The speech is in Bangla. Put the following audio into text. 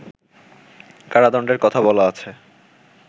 কারাদণ্ডের কথা বলা আছে